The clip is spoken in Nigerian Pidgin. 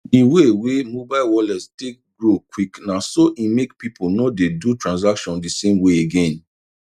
the way wey mobile wallets take grow quick naso e make people no dey do transaction the same way again